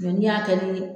n'i y'a kɛ bi